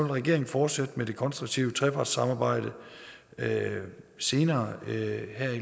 regeringen fortsætte med det konstruktive trepartssamarbejde senere her i